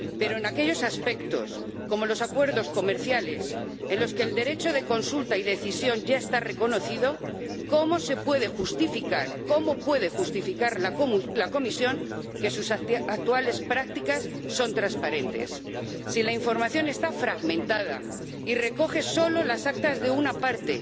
Pero en aquellos aspectos, como los acuerdos comerciales, en los que el derecho de consulta y decisión ya está reconocido, ¿cómo puede justificar la Comisión que sus actuales prácticas son transparentes, si la información está fragmentada y recoge solo las actas de una parte,